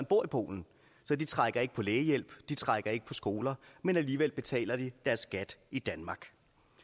bor i polen så de trækker ikke på lægehjælp de trækker ikke på skoler men alligevel betaler de deres skat i danmark